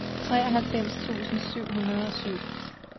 treoghalvfems tusind syv hundrede og syv